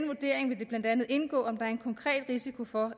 vurdering vil det blandt andet indgå om der er en konkret risiko for